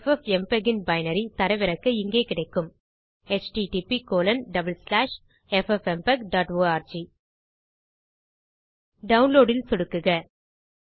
FFmpeg ன் binary தரவிறக்க இங்கே கிடைக்கும் httpffmpegorg டவுன்லோட் ல் சொடுக்குக